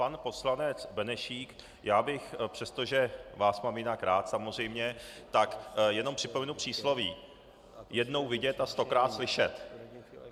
Pan poslanec Benešík - já bych, přestože vás mám jinak rád samozřejmě, tak jenom připomenu přísloví: Jednou vidět a stokrát slyšet.